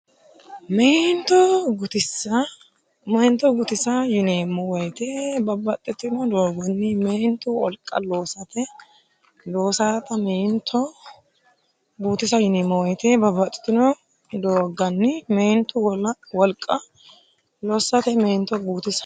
Meento guutisa yineemmo woyite babbaxxitino doogganni meentu wolqa lossate Meento guutisa yineemmo woyite babbaxxitino doogganni meentu wolqa lossate Meento guutisa.